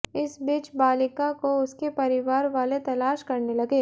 इस बीच बालिका को उसके परिवार वाले तलाश करने लगे